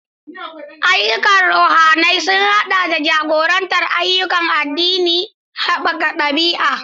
Ayyukan ruhaniya sun haɗa da jagorantar ayyukan addini da haɓaka haɓaka ɗabi'a.